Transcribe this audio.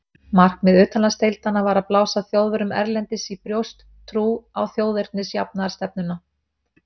Markmið utanlandsdeildanna var að blása Þjóðverjum erlendis í brjóst trú á þjóðernisjafnaðarstefnuna.